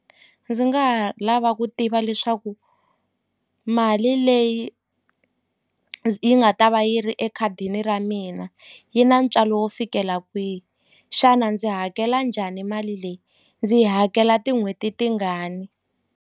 Ndzi nga ha lava ku tiva leswaku mali leyi yi nga ta va yi ri ekhadini ra mina yi na ntswalo wo fikela kwihi xana ndzi hakela njhani mali leyi ndzi yi hakela tin'hweti tingani.